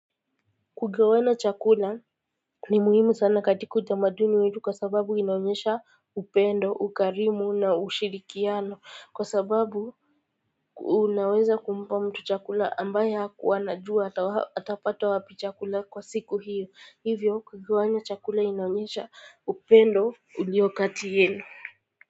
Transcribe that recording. Kugawana chakula ni muhimu sana katika utamaduni wetu kwa sababu inaonyesha upendo, ukarimu na ushirikiano kwa sababu unaweza kumpa mtu chakula ambaye hakuwa anajua atapata wapi chakula kwa siku hiyo hivyo kugawanya chakula inaonyesha upendo uliokati yenu.